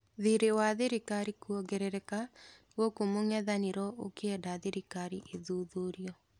Thirĩ wa thirikari kũongerereka gũkũ mũng'ethanĩro ũkĩenda thirikari ĩthuthurio.